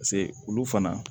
pase olu fana